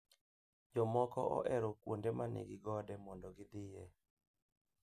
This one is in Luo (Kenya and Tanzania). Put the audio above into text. Jomoko ohero kuonde ma nigi gode mondo gidhie